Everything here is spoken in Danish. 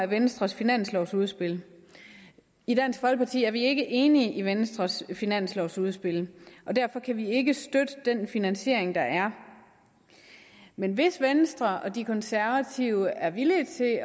venstres finanslovudspil i dansk folkeparti er vi ikke enige i venstres finanslovudspil og derfor kan vi ikke støtte den finansiering der er men hvis venstre og de konservative er villige til at